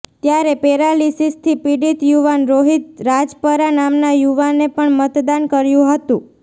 ત્યારે પેરાલિસીસથી પીડિત યુવાન રોહિત રાજપરા નામના યુવાને પણ મતદાન કર્યું હતું